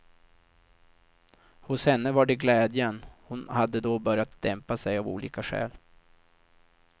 Hos henne var det glädjen, hon hade då börjat dämpa sig av olika skäl.